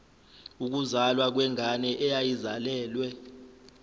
ukuzalwa kwengane eyayizalelwe